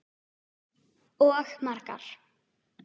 Og margar.